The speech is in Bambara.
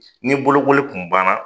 Ni bolokoli kun banna.